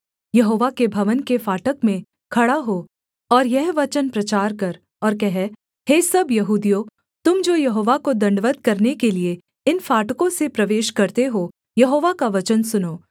यहोवा के भवन के फाटक में खड़ा हो और यह वचन प्रचार कर और कह हे सब यहूदियों तुम जो यहोवा को दण्डवत् करने के लिये इन फाटकों से प्रवेश करते हो यहोवा का वचन सुनो